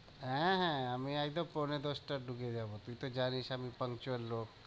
হ্যাঁ, হ্যাঁ আমি একদম পৌঁনে দশটায় ঢুকে যাবো, তুই তো জানিস আমি puncual লোক।